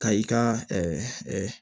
Ka i ka